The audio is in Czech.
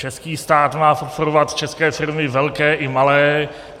Český stát má podporovat české firmy velké i malé.